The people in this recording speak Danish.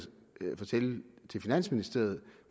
fortælle til finansministeriet